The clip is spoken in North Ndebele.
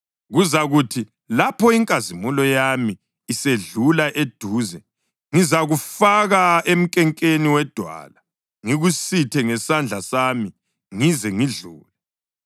Kuzakuthi lapho inkazimulo yami isedlula eduze, ngizakufaka emnkenkeni wedwala ngikusithe ngesandla sami ngize ngidlule.